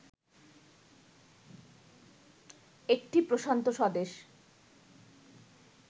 একটি প্রশান্ত স্বদেশ